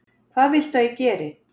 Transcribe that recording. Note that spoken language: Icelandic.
Hvað viltu að ég geri?